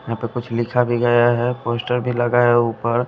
यहां पे कुछ लिखा भी गया है पोस्टर भी लगा है ऊपर--